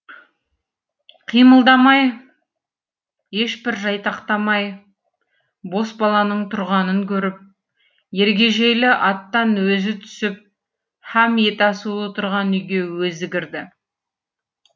қимылдамай ешбір жайтақтамай бос баланың тұрғанын көріп ергежейлі аттан өзі түсіп һәм ет асулы тұрған үйге өзі кірді